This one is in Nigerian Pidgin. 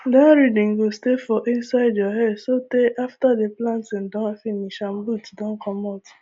that rhythm go stay for inside your head so tey after the planting don finish and boots don comot